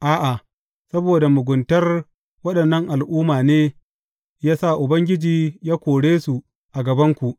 A’a, saboda muguntar waɗannan al’umma ne ya sa Ubangiji ya kore su a gabanku.